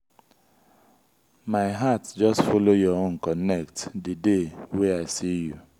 my heart just folo your own connect di day wey i see you.